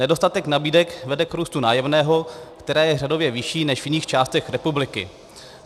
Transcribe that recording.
Nedostatek nabídek vede k růstu nájemného, které je řadově vyšší než v jiných částech republiky.